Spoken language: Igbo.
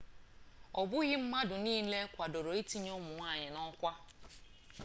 ọbụghị mmadụ niile kwadoro ntinye ụmụ nwanyị n'ọkwa